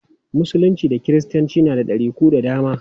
Musulunci da kiristanci na da ɗariku da dama.